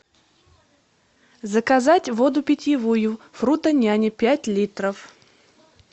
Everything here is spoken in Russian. заказать воду питьевую фрутоняня пять литров